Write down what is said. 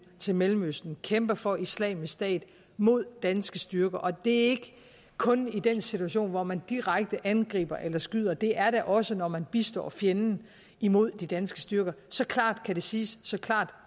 til mellemøsten og kæmper for islamisk stat mod danske styrker og det er ikke kun i den situation hvor man direkte angriber eller skyder det er det også når man bistår fjenden imod de danske styrker så klart kan det siges så klart